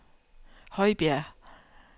Højbjerg